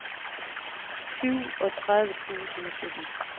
syvogtredive tusind og sytten